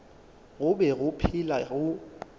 go be go phela go